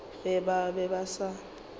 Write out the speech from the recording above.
ge ba be ba sa